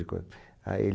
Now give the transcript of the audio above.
a ele